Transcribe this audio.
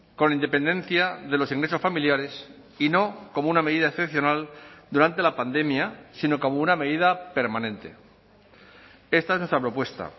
con independencia de los ingresos familiares y no como una medida excepcional durante la pandemia sino como una medida permanente esta es nuestra propuesta